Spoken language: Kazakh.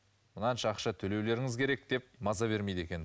мынанша ақша төлеулеріңіз керек деп маза бермейді екен